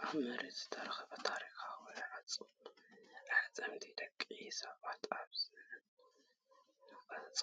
ኣብ መሬት ዝተረኽበ ታሪኻዊ ኣዕጽምቲ ደቂ ሰባት ኣብ ዝነቐጸ